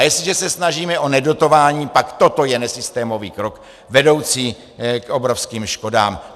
A jestliže se snažíme o nedotování, pak toto je nesystémový krok vedoucí k obrovským škodám.